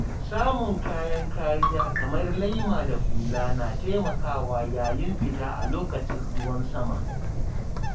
Samun kayan kariya kamar laima da hula na taimakawa yayin fita a lokacin ruwan sama.